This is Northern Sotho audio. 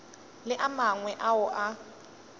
le a mangwe ao a